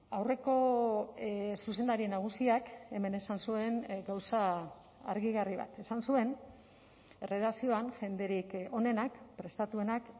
aurreko zuzendari nagusiak hemen esan zuen gauza argigarri bat esan zuen erredakzioan jenderik onenak prestatuenak